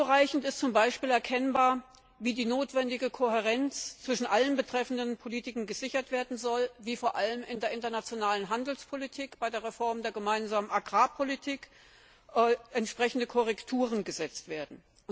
Nur unzureichend ist zum Beispiel erkennbar, wie die notwendige Kohärenz zwischen allen betreffenden Politikbereichen gesichert werden soll, wie vor allem in der internationalen Handelspolitik bei der Reform der gemeinsamen Agrarpolitik entsprechende Korrekturen gesetzt werden.